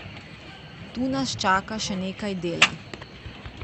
Tu nas čaka še nekaj dela.